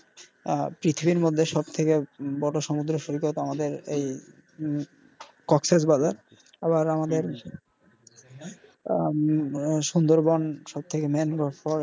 আহ পৃথিবীর মধ্যে সব থেকে বড়ো সমুদ্র সৈকত আমাদের এই উম কক্সের বাজার আবার আমাদের আহ সুন্দরবন সব থেকে ম্যানগ্রোভ forest.